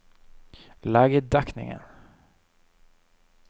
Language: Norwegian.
legedekningen